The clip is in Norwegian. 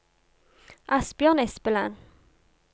Asbjørn Espeland